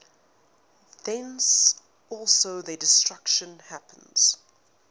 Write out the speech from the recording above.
thence also their destruction happens